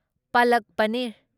ꯄꯂꯛ ꯄꯅꯤꯔ